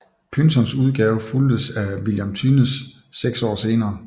Pynsons udgave fulgtes af William Thynnes seks år senere